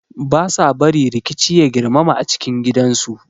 They do not allow violence to escalate in the home